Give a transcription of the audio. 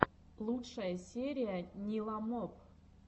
лучшая серия ниламоп